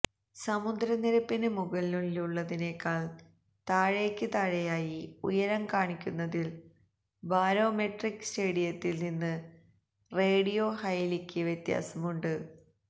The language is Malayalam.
സമുദ്രനിരപ്പിന് മുകളിലുള്ളതിനേക്കാൾ താഴേക്ക് താഴെയായി ഉയരം കാണിക്കുന്നതിൽ ബരോമെട്രിക് സ്റ്റേഡിയത്തിൽ നിന്ന് റേഡിയോ ഹൈലിക്ക് വ്യത്യാസമുണ്ട്